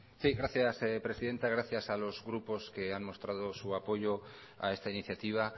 sí gracias presidenta gracias a los grupos que han mostrado su apoyo a esta iniciativa